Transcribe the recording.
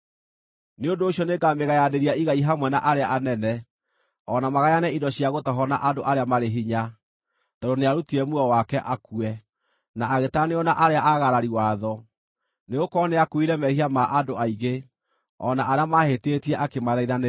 Nĩ ũndũ ũcio nĩngamĩgayanĩria igai hamwe na arĩa anene, o na magayane indo cia gũtahwo na andũ arĩa marĩ hinya, tondũ nĩarutire muoyo wake akue, na agĩtaranĩrio na arĩa aagarari watho. Nĩgũkorwo nĩakuuire mehia ma andũ aingĩ, o na arĩa maahĩtĩtie akĩmathaithanĩrĩra.